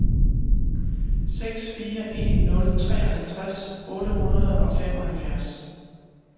seks fire en nul treoghalvtreds otte hundrede og femoghalvfjerds